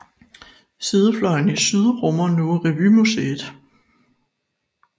Sidefløjen i syd rummer nu Revymuseet